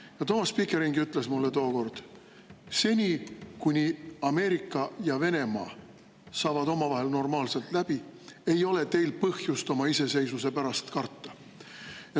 Ja Thomas Pickering ju ütles mulle tookord, et seni, kuni Ameerika ja Venemaa saavad omavahel normaalselt läbi, ei ole meil põhjust oma iseseisvuse pärast karta.